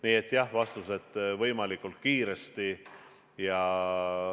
Nii et jah, vastus: võimalikult kiiresti.